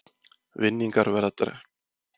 Vinningar verða dregnir úr réttum lausnum